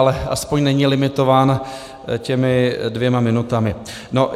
Ale aspoň není limitován těmi dvěma minutami.